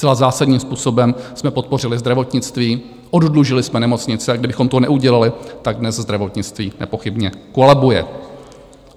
Zcela zásadním způsobem jsme podpořili zdravotnictví, oddlužili jsme nemocnice, a kdybychom to neudělali, tak dnes zdravotnictví nepochybně kolabuje.